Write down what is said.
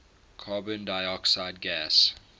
carbon dioxide gas